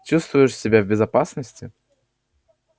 чувствуешь себя в безопасности